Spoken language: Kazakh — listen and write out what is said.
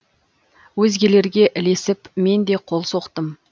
өзгелерге ілесіп мен де қол соқтым